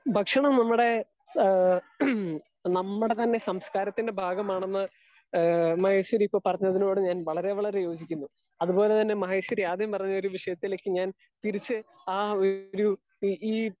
Speaker 2 ഭക്ഷണം നമ്മുടെ ഏഹ് ഹമ് നമ്മുടെ തന്നെ സംസ്കാരം ത്തിന്റെ ഭാഗമാണ് എന്ന് ഏ മഹേഷ്വരി ഇപ്പൊ പറഞ്ഞ തിനോട് ഞാൻ വളരെ വളരെ യോജിക്കുന്നു. അത് പോലെ തന്നെ മഹേഷ്വരി ആദ്യം പറഞ്ഞ വിശ്യത്തിലേക്ക് ഞാൻ തിരിച്ച് ആ ഒര് ഈ ഏഹ്